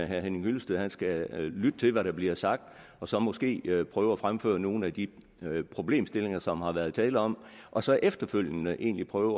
herre henning hyllested skal lytte til hvad der bliver sagt og så måske prøve at fremføre nogle af de problemstillinger som der har været tale om og så efterfølgende egentlig prøve